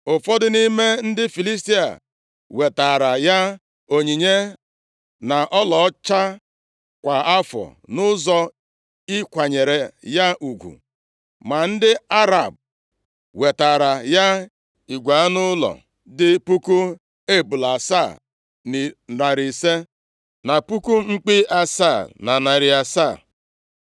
Ụfọdụ nʼime ndị Filistia wetaara ya onyinye na ọlaọcha kwa afọ nʼụzọ ịkwanyere ya ugwu, ma ndị Arab, wetaara ya igwe anụ ụlọ dị puku ebule asaa na narị asaa, na puku mkpi asaa na narị asaa.